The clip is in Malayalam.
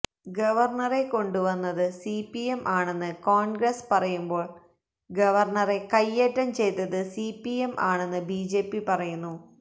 ഗവര്ണറെ കൊണ്ടുവന്നത് സിപിഎം ആണെന്ന് കോണ്ഗ്രസ് പറയുമ്പോള് ഗവര്ണറെ കയ്യേറ്റം ചെയ്തത് സിപിഎം ആണെന്ന് ബിജെപി പറയുന്നു